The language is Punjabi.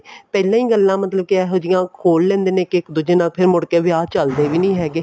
ਪਹਿਲਾਂ ਹੀ ਗੱਲਾਂ ਮਤਲਬ ਕੇ ਇਹੋ ਜੀਆਂ ਖੋਲ ਲੈਂਦੇ ਨੇ ਕੇ ਇੱਕ ਦੂਜੇ ਨਾਲ ਫ਼ਿਰ ਮੁੜਕੇ ਵਿਆਹ ਚੱਲਦੇ ਵੀ ਨਹੀਂ ਹੈਗੇ